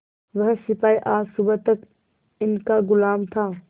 वह सिपाही आज सुबह तक इनका गुलाम था